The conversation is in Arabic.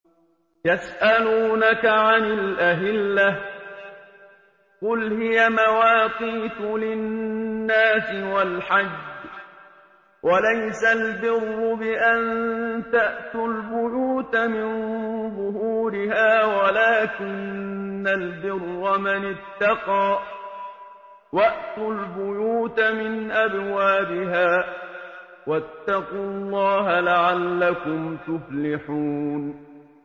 ۞ يَسْأَلُونَكَ عَنِ الْأَهِلَّةِ ۖ قُلْ هِيَ مَوَاقِيتُ لِلنَّاسِ وَالْحَجِّ ۗ وَلَيْسَ الْبِرُّ بِأَن تَأْتُوا الْبُيُوتَ مِن ظُهُورِهَا وَلَٰكِنَّ الْبِرَّ مَنِ اتَّقَىٰ ۗ وَأْتُوا الْبُيُوتَ مِنْ أَبْوَابِهَا ۚ وَاتَّقُوا اللَّهَ لَعَلَّكُمْ تُفْلِحُونَ